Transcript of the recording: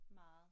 Meget